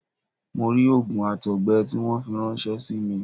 Mo rí òògùn àtọ̀gbẹ tí wọ́n fi ráńṣẹ́ símí